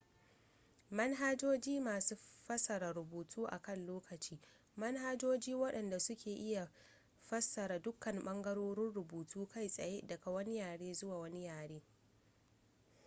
manhajoji masu fasara rubutu a kan lokaci manhajoji waɗanda suke iya fasara dukkan ɓangarorin rubutu kai tsaye daga wani yare zuwa wani